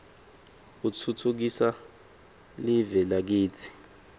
utfutfukisa liue lakitsi